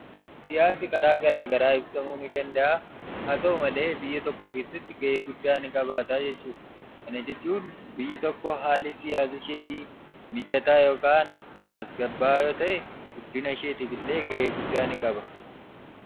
Siyaasi karaa garaa garaa ibsamuu ni danda'a. Haa ta'u malee, biyya tokko keessatti gahee guddaa ni qabaata jechuudha. Kana jechuun biyyi tokko haalli siyaasa isheetii mijataa yookaan tasgabbaa'aa yoo ta'e, guddina isheetiifillee gahee guddaa ni qaba.